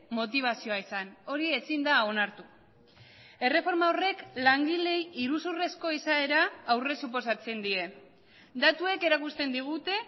motibazioa izan hori ezin da onartu erreforma horrek langileei iruzurrezko izaera aurre suposatzen die datuek erakusten digute